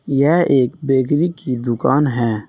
यह एक बेकरी की दुकान है।